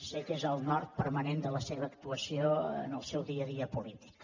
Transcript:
sé que és el nord permanent de la seva actuació en el seu dia a dia política